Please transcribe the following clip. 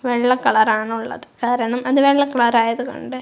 വെള്ള കളർ ആണുള്ളത് കാരണം അത് വെള്ള കളർ ആയതു കൊണ്ട്.